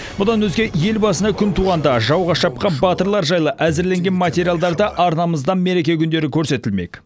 бұдан өзге ел басына күн туғанда жауға шапқан батырлар жайлы әзірленген материалдар да арнамыздан мереке күндері көрсетілмек